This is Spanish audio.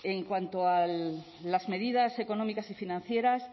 en cuanto a las medidas económicas y financieras